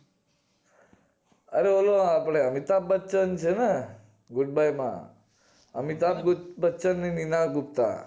અરે અરે આપડે અમિતાબ બચ્ચાંન છે ને good bye માં અમિતાબ બચ્ચાંન ને મીના ગુપ્તા